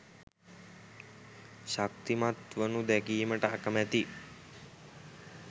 ශක්තිමත් වනු දැකීමට අකමැති